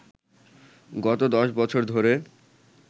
গত ১০ বছর ধরে